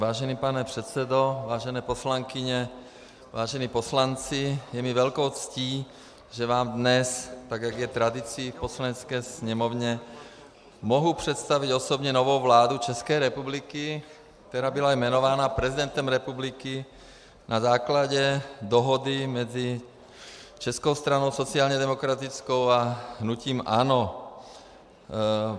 Vážený pane předsedo, vážené poslankyně, vážení poslanci, je mi velkou ctí, že vám dnes, tak jak je tradicí v Poslanecké sněmovně, mohu představit osobně novou vládu České republiky, která byla jmenována prezidentem republiky na základě dohody mezi Českou stranou sociálně demokratickou a hnutím ANO.